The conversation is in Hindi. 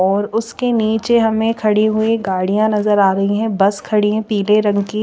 और उसके निचे हमे खड़ी हुई गाड़िया नज़र आरही है बस खड़ी है पिले रंग की--